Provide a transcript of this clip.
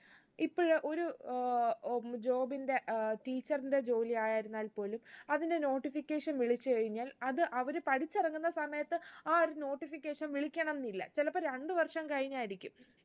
ഇപ്പൊ ഇയ ഒരു ഏർ ഉം job ന്റെ ഏർ teacher ന്റെ ജോലിയായിരുന്നാൽ പോലും അതിന്റെ notification വിളിച്ച് കഴിഞ്ഞാൽ അത് അവര് പഠിച്ചിറങ്ങുന്ന സമയത്ത് ആ ഒരു notification വിളിക്കണംന്നില്ല ചിലപ്പോ രണ്ട്‍ വര്‍ഷം കഴിഞ്ഞായിരിക്കും